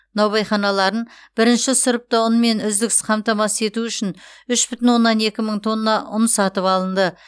наубайханаларын бір сұрыпты ұнмен үздіксіз қамтамасыз ету үшін үш бүтін оннан екі мың тонна ұн сатып алынды